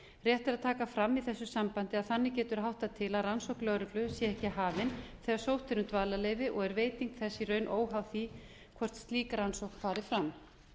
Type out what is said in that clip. rétt er að taka fram í þessu sambandi að þannig getur háttað til að rannsókn lögreglu sé ekki hafin þegar sótt er um dvalarleyfi og er veiting þess í raun óháð því hvort slík rannsókn fari fram